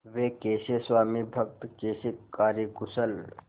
वे कैसे स्वामिभक्त कैसे कार्यकुशल